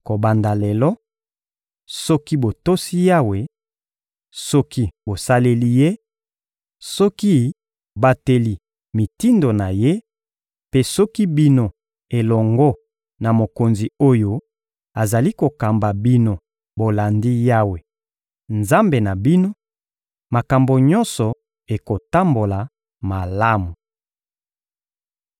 Kobanda lelo, soki botosi Yawe, soki bosaleli Ye, soki bobateli mitindo na Ye, mpe soki bino elongo na mokonzi oyo azali kokamba bino bolandi Yawe, Nzambe na bino, makambo nyonso ekotambola malamu.